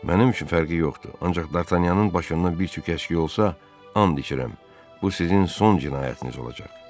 Mənim üçün fərqi yoxdur, ancaq Dartanyanın başından bir tük əşki olsa, and içirəm, bu sizin son cinayətiniz olacaq.